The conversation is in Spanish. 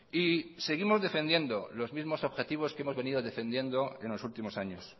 y seguimos defendiendo los mismos objetivos que hemos venido defendiendo en los últimos años